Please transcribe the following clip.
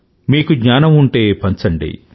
మీకు జ్ఞానం ఉంటే పంచండి